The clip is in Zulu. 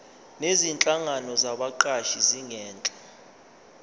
nezinhlangano zabaqashi zingenza